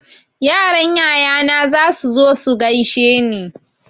Yaran yayana zasu zo su gaushe ni.